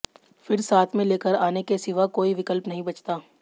फिर साथ मे लेकर आने के सिवा कोई विकल्प नही बचता